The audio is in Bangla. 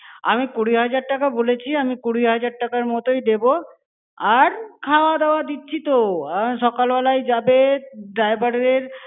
আমি কুড়ি হাজার টাকা বলেছি, আমি কুড়ি হাজার টাকার মতোই দেব। আর, খাওয়া-দাওয়া দিচ্ছি তো! সকালবেলাই যাবে, আহ driver এর।